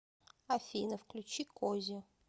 афина включи кози